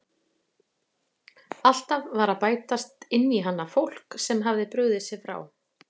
Alltaf var að bætast inn í hana fólk sem hafði brugðið sér frá.